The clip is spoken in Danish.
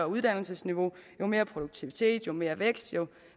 uddannelsesniveau jo mere produktivitet jo mere vækst jo